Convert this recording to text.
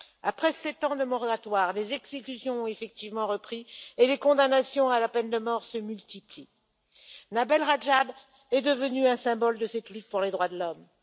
Après 7 ans de moratoire, les exécutions ont effectivement repris et les condamnations à la peine de mort se multiplient. Nabil Rajab est devenu un symbole de cette lutte pour les droits de l'homme.